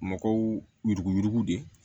Mɔgɔw yuruguyurugu de